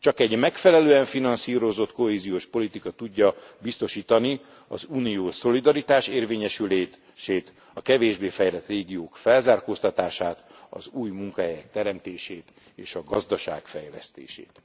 Csak egy megfelelően finanszírozott kohéziós politika tudja biztosítani az uniós szolidaritás érvényesülését, a kevésbé fejlett régiók felzárkóztatását, az új munkahelyek teremtését és a gazdaság fejlesztését.